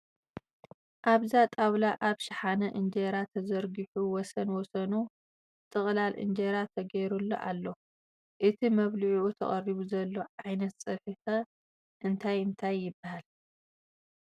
ኣብዛ ጣውላ ኣብ ሸሓነ እንጀራ ተዘርጊሑ ወሰን ወሰኑ ጥቕላል እንጀራ ተገይሩሉ ኣሎ ፡ እቲ መብሊዒዑ ተቐሪቡ ዘሎ ዓይነት ፀብሒ' ኸ እንታይ እንታይ ይበሃል ?